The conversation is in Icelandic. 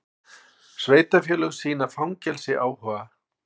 Sveitarfélög sýna fangelsi áhuga